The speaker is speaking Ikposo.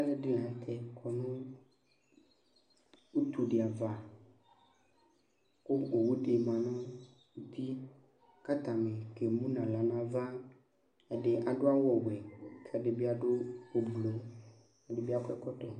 Ŋɩƙɔ ŋʊ ʊtʊ ɖɩ ava, ƙʊ ogɔwʊ ɖɩ ma ŋuti ƙataŋɩ ƙémʊ ŋahla ŋaʋa, Ɛɖɩŋɩ aɖʊ awu wɛ ƙʊ ɛɖiɓɩ aɖʊ ʊɓlʊ, ɛɖɩɓɩ aƙɔ ɛƙɔtɔ